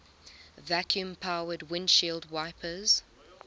vacuum powered windshield wipers